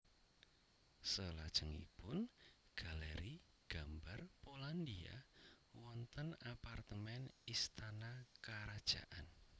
Selajengipun Galeri Gambar Polandia wonten apartemen istana karajaan